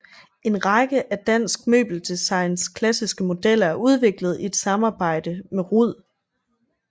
En række af dansk møbeldesigns klassiske modeller er udviklet i et samarbejdede med Rud